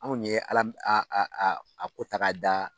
Anw ye Ala min a ko ta k'a da